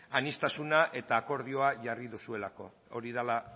aniztasun eta akordioa jarri duzuelako hori dela